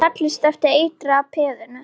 Seilist eftir eitraða peðinu.